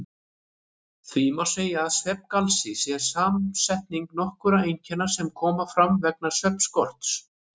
Því má segja að svefngalsi sé samsetning nokkurra einkenna sem koma fram vegna svefnskorts.